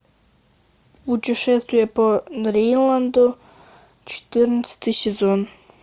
путешествие по дриланду четырнадцатый сезон